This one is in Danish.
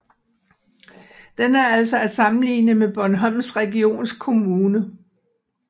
Den er altså at sammenligne med Bornholms Regionskommune